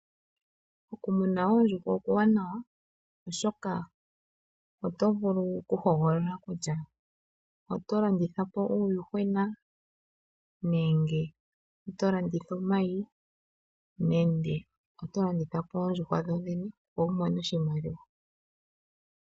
Okumuna oondjuhwa okuwanawa oshoka oto vulu oku hogolola kutya oto landitha po uuyuhwena nenge oto landitha omayi nenge oto landitha po oondjuhwa dho dhene opo wu mone oshimaliwa.